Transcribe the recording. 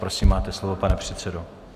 Prosím, máte slovo, pane předsedo.